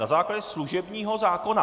Na základě služebního zákona.